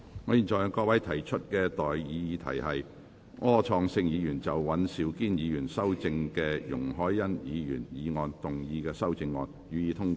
我現在向各位提出的待議議題是：柯創盛議員就經尹兆堅議員修正的容海恩議員議案動議的修正案，予以通過。